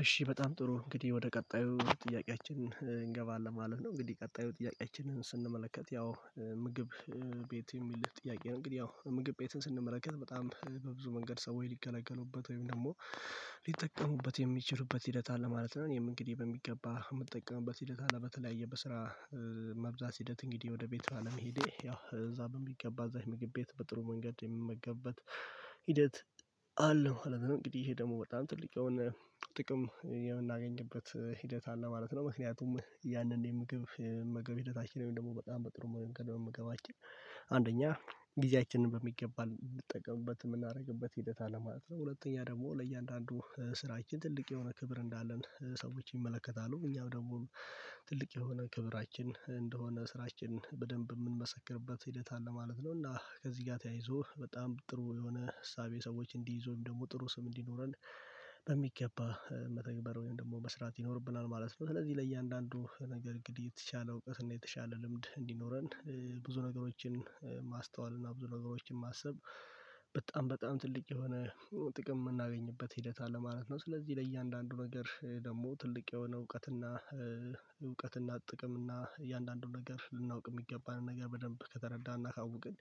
እሺ በጣም ጥሩ እንግዲህ ወደ ቀጣዩ ጥያቄያችን እንገባለን ማለት ነው። እንግዲህ ቀጣዩ ጥያቄችንን ስንመለከት ያው ምግብ ቤት የሚልህ ጥያቄ ነው እንግዲህ ያው ምግብ ቤትን ስንመለከት በጣም በብዙ መንገድ ሰው ሊገለገሉበት ወይም ደግሞ ሊጠቀሙበት የሚችሉበት ሂደት አለ ማለት ነው። እኔም እንግዲህ በሚገባ የምጠቀምበት ሂደት አለ በተለያየ በስራ መብዛት ሂደት እንግዲህ ወደ ቤተአለም ሂዴ ያው እዛ በሚገባ እዛ ምግብ ቤት በጥሩ መንገድ የምመገበት ሂደት አለው። አለም እንግዲህ ይሄ ደግሞ ጥልቀ የሆነ ጥቅም የምናገኝበት ሂደት አለ ማለት ነው። ምክንያቱም ያንን የምግብ እመገብ እና ሂደታችን ወይም ደግሞ በጣም በጥሩ ምግብ መመገብ አንደኛ ጊዜያችንን በሚገባ ልንጠቀምበት የምናደርግበት ሂደት አለ ማለት ነው። ሁለተኛ ደግሞ ለእያንዳንዱ ስራችን ትልቅ የሆነ ክብር እንዳለን ሰዎች ይመለከታሉ እኛም ደግሞ ትልቅ የሆነ ክብራችን እንደሆነ ስራችን በደንብ የምንመሰክርበት ሂደት አለ ማለት ነው። እና ከዚህ ጋር ተያይዞ በጣም ጥሩ የሆነ እሳቤ ሰዎች እንዲይዙም ደግሞ ጥሩ ስም እንዲኖረን በሚገባ መተግበር ወይም ደግሞ መስራት ይኖርብናል ማለት ነው። ስለዚህ ለእያንዳንዱ ነገር እንግዲህ የተቻለ እውቀት እና የተሻለ ልምድ እንዲኖረን ብዙ ነገሮችን ማስተዋል እና ብዙ ነገሮችን ማሰብ በጣም በጣም ትልቅ የሆነ ጥቅም የምናገኝበት ሂደት አለ ማለት ነው። ስለዚህ ለእያንዳንዱ ነገር ደግሞ ትልቅ የሆነ እውቀትና እውቀትና ጥቅም እና እያንዳንዱን ነገር ልናውቅ የሚገባንን ነገር በደንብ ከተረዳን እና ካወቅን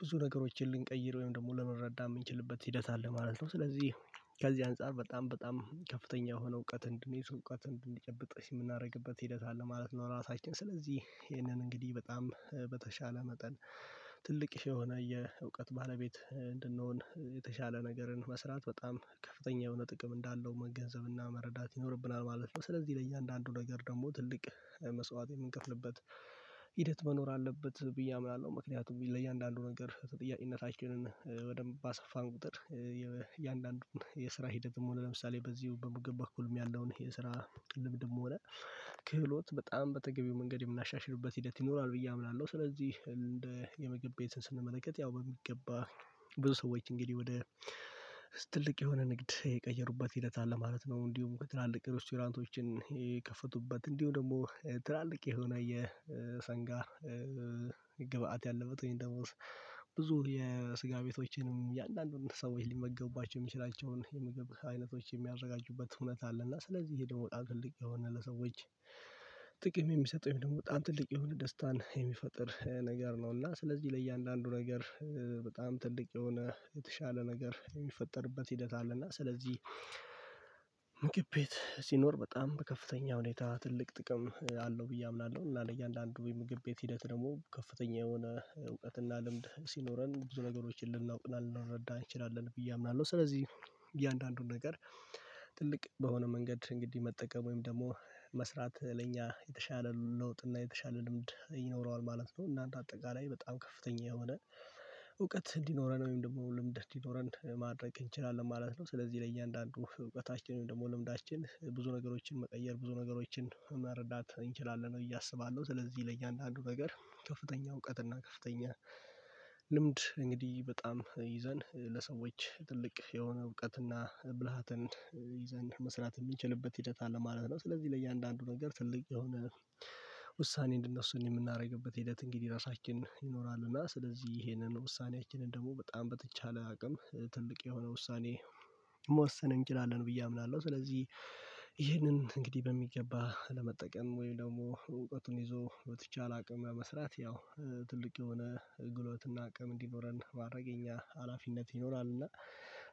ብዙ ነገሮችን ልንቀይር ወይም ደግሞ ለመረዳት የምንችልበት ሂደት አለ ማለት ነው። ስለዚህ ከዚህ አንፃር በጣም በጣም ከፍተኛ የሆነ እውቀት እንድንይዝ እውቀት እንድንጨብጥ የምናደርግበት ሂደት አለ ማለት ነው። ራሳችን ስለዚህ ይህንን እንግዲህ በጣም በተሻለ መጠን ትልቅ የሆነ የእውቀት ባለቤት እንድንሆን የተሻለ ነገርን መስራት በጣም ከፍተኛ የሆነ ጥቅም እንዳለው መገንዘብና መረዳት ይኖርብናል ማለት ነው። ስለዚህ ለእያንዳንዱ ነገር ደግሞ ትልቅ መስዋዕትን የምንከፍልበት ሂደት መኖር አለበት ብዬ አምናለሁ ምክንያቱም ለእያንዳንዱ ነገር ተጠያቂነታችንን በደንብ ባሰፋን ቁጥር የእያንዳንዱን የስራ ሂደትም ሆነ ለምሳሌ በዚህ በምግብ በኩልም ያለውን የስራ ቅልብድብም ሆነ ክህሎት በጣም በተገቢው መንገድ የምናሻሽልበት ሂደት ይኖራል ብዬ አምናለሁ። ስለዚህ እንደ የምግብ ቤትን ስንመለከት ያው በሚገባ ብዙ ሰዎች እንግዲህ ወደ ትልቅ የሆነ ንግድ የቀየሩበት ሂደት አለ ማለት ነው። እንዲሁም ከትላልቅ ሬስቶራንቶችን የከፈቱበት እንዲሁ ደግሞ ትላልቅ የሆነ የሰንጋ ግብአት ያለበት ወይም ደሞ ብዙ የስጋ ቤቶችንም የአንዳንዱን ሰዎች ሊመገቡባቸው የሚችላቸውን የምግብ አይነቶች የሚያዘጋጁበት እውነት አለ እና ስለዚህ ይሄ ደግሞ ታክል የሆነ ለሰዎች ጥቅም የሚሰጠኝ ደግሞ በጣም ትልቅ የሆነ ደስታን የሚፈጥር ነገር ነው። እና ስለዚህ ለእያንዳንዱ ነገር በጣም ትልቅ የሆነ የተሻለ ነገር የሚፈጠርበት ሂደት አለ እና ስለዚህ ቤት ሲኖር በጣም በከፍተኛ ሁኔታ ትልቅ ጥቅም አለው ብዬ አምናለሁ። እና ለእያንዳንዱ ወይ ምግብ ቤት ሂደት ደግሞ ከፍተኛ የሆነ እውቀትና ልምድ ሲኖረን ብዙ ነገሮችን ልናውቅ እንላለን ልንረዳን እንችላለን ብዬ አምናለሁ ስለዚህ እያንዳንዱን ነገር ትልቅ በሆነ መንገድ እንግዲህ መጠቀም ወይም ደግሞ መስራት ለእኛ የተሻለ ለውጥ እና የተሻለ ልምድ ይኖረዋል ማለት ነው። እናም በአጠቃላይ በጣም ከፍተኛ የሆነ እውቀት እንዲኖረን ወይም ደግሞ ልምድ እንዲኖረን ማድረግ እንችላለን ማለት ነው። ስለዚህ ለእያንዳንዱ እውቀታችንን ደግሞ ልምዳችን ብዙ ነገሮችን መቀየር ብዙ ነገሮችን መረዳት እንችላለን ብዬ እስባለሁ ስለዚህ ለእያንዳንዱ ነገር ከፍተኛ እውቀት እና ከፍተኛ ልምድ እንግዲህ በጣም ይዘን ለሰዎች ትልቅ የሆነ እውቀትና ብልሃትን ይዘን መስራት የሚችልበት ሂደት አለ ማለት ነው። ስለዚህ ለእያንዳንዱ ነገር ትልቅ የሆነ ውሳኔ እንደነሱን የምናደርግበት ሂደት እንግዲህ ራሳችን ይኖራል እና ስለዚህ ይሄንን ውሳኔያችንን ደግሞ በጣም በተቻለ አቅም ትልቅ የሆነ ውሳኔ መወሰን እንችላለን ብዬ አምናለሁ። ስለዚህ ይህንን እንግዲህ በሚገባ ለመጠቀም ወይም ደግሞ እውቀቱን ይዞ በተቻለ አቅም ያ መስራት ያው ትልቅ የሆነ አገልግሎትና አቅም እንዲኖረን የሚያደርግ አላፊነት ይኖራል። እና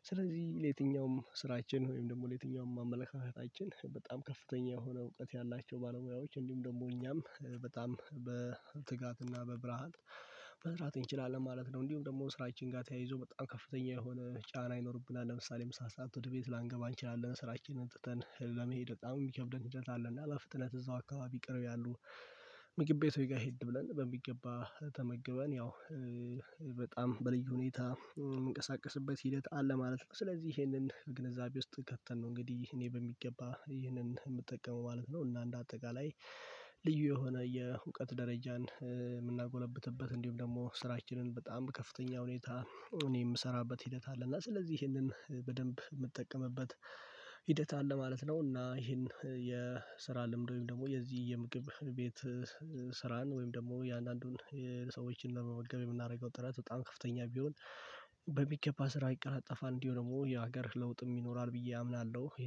ስለዚህ ለየትኛውም ስራችን ወይም ደግሞ ለየትኛውም አመለካከታችን በጣም ከፍተኛ የሆነ እውቀት ያላቸው ባለሙያዎች እንዲሁም ደግሞ እኛም በጣም በትጋትና በብርሃን መስራት እንችላለን ማለት ነው። እንዲሁም ደግሞ ስራችን ጋር ተያይዞ በጣም ከፍተኛ የሆነ ጫና ይኖርብናል ለምሳሌ ምሳ ሰዓት ወደ ቤት ላንገባ አንችልም ስራችንን አጥተን ለመሄድ በጣም የሚከብደን ሰዓት አለና ለፍጥነት እዛው አካባቢ ይቅር ያሉ ምግብ ቤት ጋር ሄድ ብለን በሚገባ ተመግበን ያው በጣም በልዩ ሁኔታ የምንቀሳቀስበት ሂደት አለ ማለት ነው። ስለዚህ ይሄንን በግንዛቤ ውስጥ ከተንን ነው እንግዲህ እኔ በሚገባ ይህንን የምጠቀመው ማለት ነው። እና እንደ አጠቃላይ ልዩ የሆነ የእውቀት ደረጃን እንዲሁም ደግሞ ስራችንን በጣም ከፍተኛ ሁኔታ እኔ የምሰራበት ሂደት አለ እና ስለዚህ ይሄንን በደንብ የምጠቀምበት ሂደት አለ ማለት ነው። እና ይሄን የስራ ልምድ ወይም ደግሞ የዚህ የምግብ ቤት ስራን ወይም ደግሞ የአንዳንዱን ሰዎችን ለመመገብ የምናደርገው ጥረት በጣም ከፍተኛ ቢሆን በሚገባ ስራ ይቀላጠፋል እንዲሆን ደግሞ የሀገር ለውጥም ይኖራል ብዬ አምናለሁ።